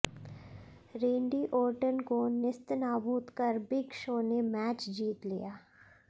रेंडी Orton को नेस्तनाबूत कर बिग शो ने मैच जीत लिया